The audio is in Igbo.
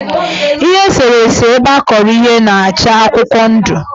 Ihe eserese ebeakọrọ ihe na-acha akụkwọndụ.